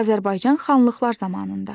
Azərbaycan xanlıqlar zamanında.